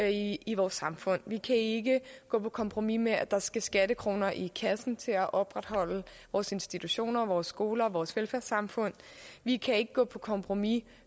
i i vores samfund vi kan ikke gå på kompromis med at der skal skattekroner i kassen til at opretholde vores institutioner vores skoler og vores velfærdssamfund vi kan ikke gå på kompromis